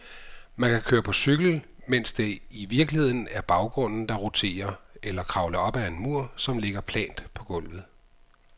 Man kan køre på cykel, mens det i virkeligheden er baggrunden, der roterer, eller kravle op ad en mur, som ligger plant på gulvet.